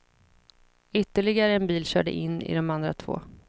Ytterligare en bil körde in i de andra två.